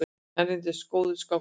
Hann reyndist góður skákmaður.